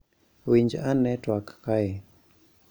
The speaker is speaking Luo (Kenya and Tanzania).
Winj ane twak kae: